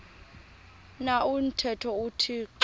na umthetho uthixo